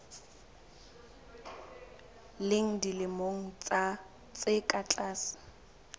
leng dilemo tse ka tlase